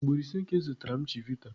Ugboro ise ka ị zụtara m chivita.